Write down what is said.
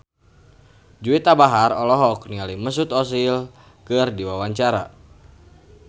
Juwita Bahar olohok ningali Mesut Ozil keur diwawancara